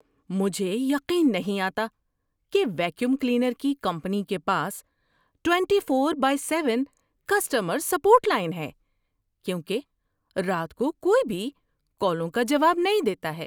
مجھے یقین نہیں آتا کہ ویکیوم کلینر کی کمپنی کے پاس twenty four by seven customer support line ہے کیونکہ رات کو کوئی بھی کالوں کا جواب نہیں دیتا ہے۔